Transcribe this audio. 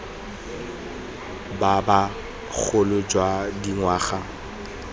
ba ba bogolo jwa dingwaga